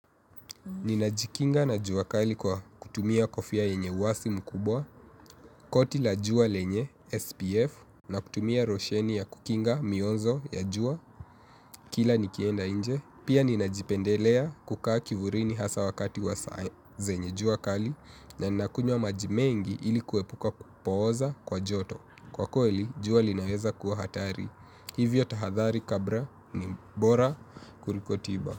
Nina jikinga na jua kali kwa kutumia kofia yenye uwazi mkubwa, koti la jua lenye, SPF, na kutumia losheni ya kukinga mionzo ya jua, kila nikienda inje. Pia nina jipendelea kukaa kivulini hasa wakati wa saa zenye jua kali, na nina kunywa maji mengi ili kuepuka kupoza kwa joto. Kwa kweli, jua linaweza kuwa hatari. Hivyo tahadhari kabla ni bora kuliko tiba.